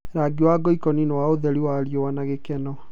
Rangi wa ngoikoni nĩ wa ũtheri wa riũwa na gĩkeno.